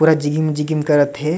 पूरा जिगिंम जिगिंम करत हे।